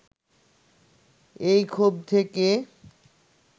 এই ক্ষোভ থেকে